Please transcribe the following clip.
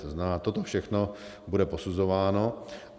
To znamená, toto všechno bude posuzováno.